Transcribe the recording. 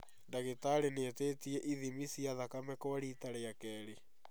Ndagĩtarĩ nĩetĩtie ithimi cia thakame kwa rita rĩa kerĩ